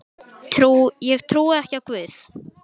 Ég trúi ekki á Guð.